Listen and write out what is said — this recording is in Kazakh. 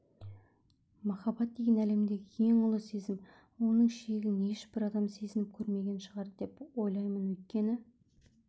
махаббат деген әлемдегі ең ұлы сезім оның шегін ешбір адам сезініп көрмеген шығар деп ойлаймын өйткені